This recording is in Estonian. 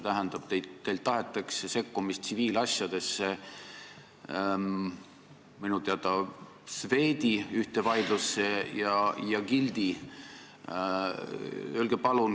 Teilt tahetakse sekkumist tsiviilasjadesse, minu teada Swedi ühte vaidlusse ja ka Gildiga seotud asja.